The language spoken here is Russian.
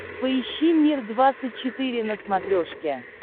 поищи мир двадцать четыре на смотрешке